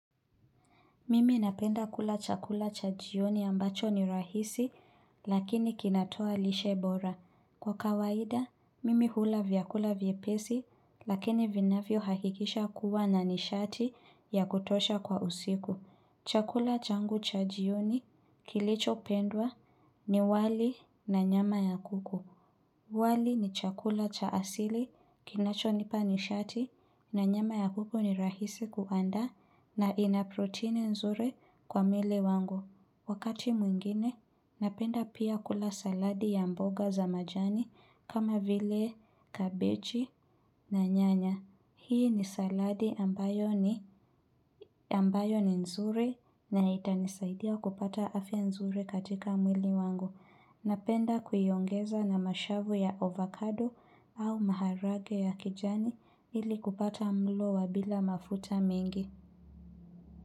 Mimi napenda kula chakula cha jioni ambacho ni rahisi lakini kinatoa lishe bora. Kwa kawaida, mimi hula vyakula vyepesi lakini vinavyohakikisha kuwa na nishati ya kutosha kwa usiku. Chakula changu cha jioni kilichopendwa ni wali na nyama ya kuku. Wali ni chakula cha asili, kinachonipa nishati, na nyama ya kuku ni rahisi kuandaa na ina protini nzuri kwa mwili wangu. Wakati mwingine, napenda pia kula saladi ya mboga za majani kama vile, kabechi na nyanya. Hii ni saladi ambayo ni nzuri na itanisaidia kupata afya nzuri katika mwili wangu. Napenda kuiongeza na mashavu ya avocado au maharage ya kijani ili kupata mlo wa bila mafuta mingi.